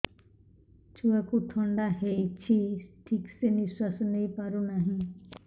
ଛୁଆକୁ ଥଣ୍ଡା ହେଇଛି ଠିକ ସେ ନିଶ୍ୱାସ ନେଇ ପାରୁ ନାହିଁ